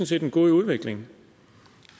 set en god udvikling